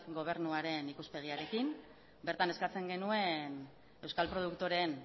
gobernuaren ikuspegiarekin bertan eskatzen genuen euskal produktoreen